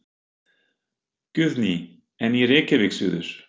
Guðný: En í Reykjavík suður?